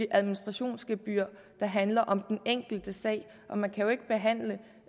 administrationsgebyr der handler om den enkelte sag man kan jo ikke behandle